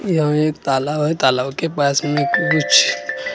यहाँ एक तालाब हैं तालाब के पास में कुछ लड़की।